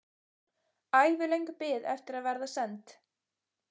Ævilöng bið eftir að verða send.